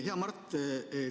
Hea, Mart!